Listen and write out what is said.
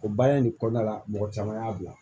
O baara in kɔnɔna la mɔgɔ caman y'a bila